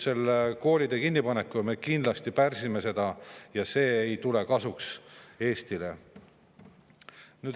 Selle koolide kinnipanekuga me kindlasti pärsime seda ja see ei tule Eestile kasuks.